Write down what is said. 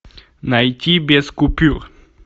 найти без купюр